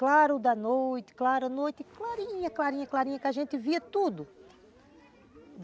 Claro da noite, clara da noite, clarinha, clarinha, clarinha, que a gente via tudo.